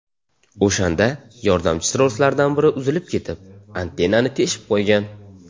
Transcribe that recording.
O‘shanda yordamchi troslardan biri uzilib ketib, antennani teshib qo‘ygan.